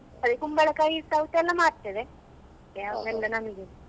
ಅದೆ ಕುಂಬಳಕಾಯಿ ಸೌತೆ ಎಲ್ಲ ಮಾರ್ತೇವೆ ಯಾವಾಗಲ್ಲ ನಮ್ಗೆ.